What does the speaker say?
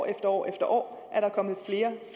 at år efter år er der kommet